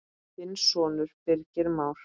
Þinn sonur, Birgir Már.